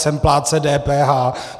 Jsem plátcem DPH.